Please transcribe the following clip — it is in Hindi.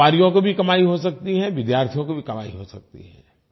व्यापारियों को भी कमाई हो सकती है विद्यार्थियों को भी कमाई हो सकती है